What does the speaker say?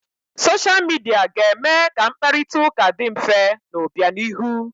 Soshia Midia ga-eme ka mkparita ụka dị mfe n'obianihu.